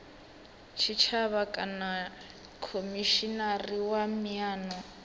tshitshavha kana khomishinari wa miano